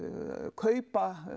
kaupa